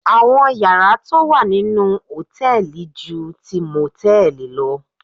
Àwọn yàrá tó wà nínú hòtẹ́ẹ̀li ju ti mòtẹ́ẹ̀lì lọ